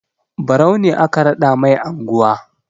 Barau ne aka raɗa mai anguwa.